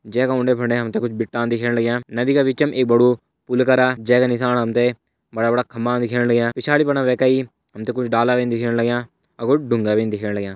जैका उंडे फुंडे हमते कुछ बिट्टा दिखेण लग्यां नदी का बिचम एक बड़ु पुल करा जै के नीसाण हमते बड़ा-बड़ा खम्बा दिखेण लग्यां पिछाड़ी फणा वैका ही हमते कुछ डाला भीन दिखेण लग्यां और कुछ डुंगा भी दिखेण लग्यां।